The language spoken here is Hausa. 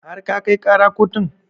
Har ka kai ƙara kotun?